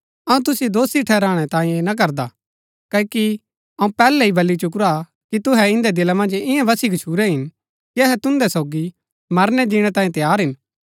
अऊँ तुसिओ दोषी ठहराणै तांयें ऐह ना करदा क्ओकि अऊँ पहले ही बली चुकुरा हा कि तुहै इन्दै दिला मन्ज इआं वसी गच्छुरै हिन कि अहै तुन्दै सोगी मरणै जिणै तांयें तैयार हिन